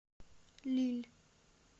лилль